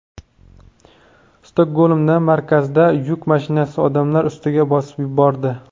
Stokgolmda markazida yuk mashinasi odamlar ustiga bosib bordi.